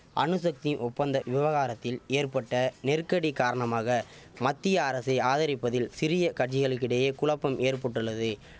அணுசக்தி ஒப்பந்த விவகாரத்தில் ஏற்பட்ட நெருக்கடி காரணமாக மத்திய அரசே ஆதரிப்பதில் சிறிய கட்சிகளுக்கு இடையே குழப்பம் ஏற்பட்டுள்ளது